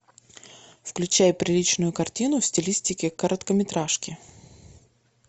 включай приличную картину в стилистике короткометражки